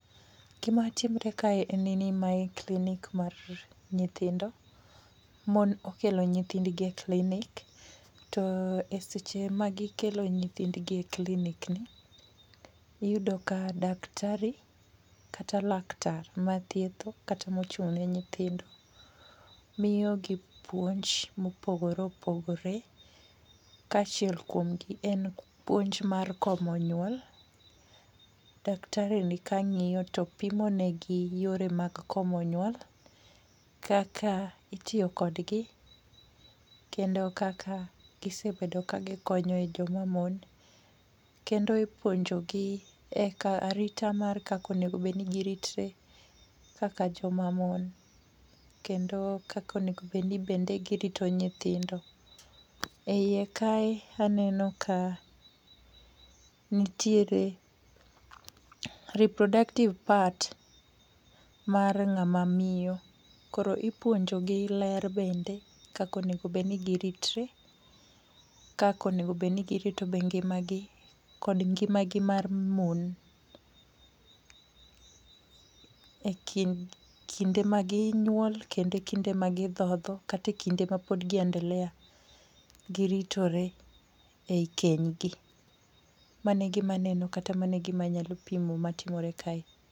Gima timore kae en ni mae clinic mar nyithindo. Mon okelo nyithindgi e clinic , to e seche ma gikelo nyithindgi e clinic ni, to iyudo ya daktari, kata laktar mathietho, kata mochung' ne nyithindo miyo gi puonj ma opogore opogore. Ka achiel kuom gi en puonj mar komo nyuol. Daktari ni kangíyo to pimonegi yore mag komo nyuol, kaka itiyo kodgi, kendo kaka gisebedo ka gikonyo e joma mon. Kendo e puonjogi e ka, aritra kaka onengo giritre kaka joma mon, kendo kaka onego bed ni bende girito nyithindo. E ie ka aneno ka nitiere reproductive part mar ngáma miyo. Koro ipunjo gi ler bende, kaka onego bed ni giritre, kaka onego bed ni girito be ngimagi, kod ngimagi mar mon. E kind, kinde ma ginyuol, kata e kinde ma gidhodho, katae e kinde ma pod gi endelea gi ritore, ei kenygi. Mano e gima aneno, kata mano e gima anyalo pimo matimore kae.